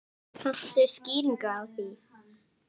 Kanntu skýringu á því?